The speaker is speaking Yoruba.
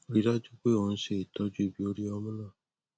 rí i dájú pé ò ń ṣe ìtọjú ibi orí ọmú náà